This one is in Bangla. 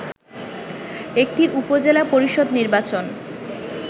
এটি উপজেলা পরিষদ নির্বাচন